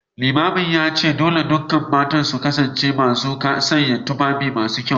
Limamin ya ce dole ne dukkan matan su kasance masu sanya tufafi masu kyau